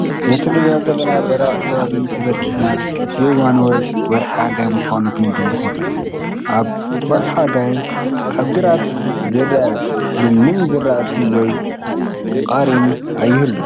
ነቲ ንሪኦ ዘለና ደረቕ ከባቢ ተመልኪትና እቲ እዋን ወርሒ ሓጋይ ምዃኑ ክንግምት ንኽእል፡፡ ኣብ ወርሒ ሓጋይ ኣብ ግራት ዝርአ ልምሉም ዝራእቲ ወይ ቀሪም ኣይህሉን፡፡